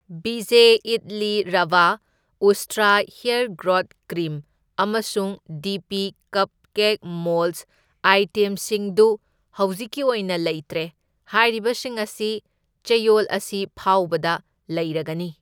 ꯚꯤꯖꯦ ꯏꯗꯂꯤ ꯔꯚꯥ, ꯎꯁꯇ꯭ꯔꯥ hair growth cream, ꯑꯃꯁꯨꯡ ꯗꯤ ꯄꯤ ꯀꯞꯀꯦꯛ ꯃꯣꯜꯗꯁ ꯑꯥꯏꯇꯦꯝꯁꯤꯡꯗꯨ ꯍꯧꯖꯤꯛꯀꯤ ꯑꯣꯏꯅ ꯂꯩꯇ꯭ꯔꯦ, ꯍꯥꯏꯔꯤꯕꯁꯤꯡ ꯑꯁꯤ ꯆꯌꯣꯜ ꯑꯁꯤ ꯐꯥꯎꯕꯗ ꯂꯩꯔꯒꯅꯤ꯫